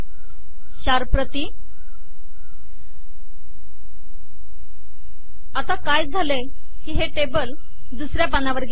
चार प्रती आता काय झाले आहे की हे टेबल दुसऱ्या पानावर गेले आहे